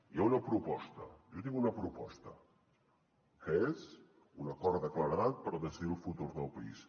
hi ha una proposta jo tinc una proposta que és un acord de claredat per decidir el futur del país